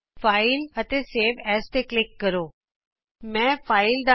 file ਜੀਟੀਜੀਟੀ save ਐਜ਼ਫਾਈਲਗਟਗਟ save as ਤੇ ਕਲਿਕ ਕਰੋ